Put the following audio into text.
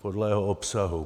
Podle jeho obsahu.